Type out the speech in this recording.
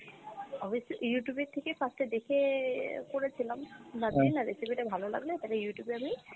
obviously Youtube এর থেকে first এ দেখে করেছিলাম but না recipe টা ভালো লাগলে তবে Youtube এ আমি